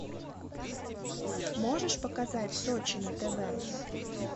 можешь показать сочи на тв